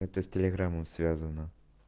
это с телеграмом связано